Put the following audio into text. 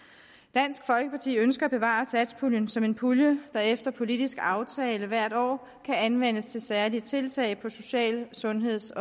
dansk folkeparti ønsker at bevare satspuljen som en pulje der efter politisk aftale hvert år kan anvendes til særlige tiltag på social sundheds